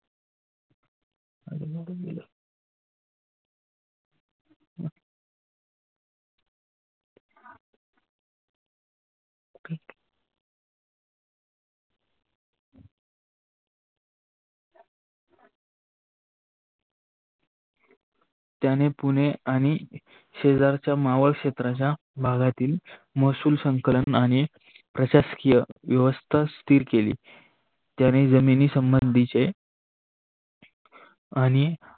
त्याने पुने आणि शेजारच्या मावळ क्षेत्राच्या भागातील मसूल संकलनाने प्रशासकीय व्यवस्था स्थिर केली. त्यांनी जमिनी संबंधीचे आणि